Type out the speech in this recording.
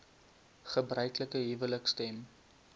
gebruiklike huwelike stem